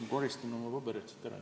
Ma koristan oma paberid siit ära.